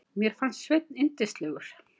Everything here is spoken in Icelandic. Mér fannst Sveinn yndislegur.